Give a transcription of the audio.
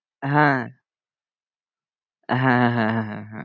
হ্যাঁ হ্যাঁ, হ্যাঁ, হ্যাঁ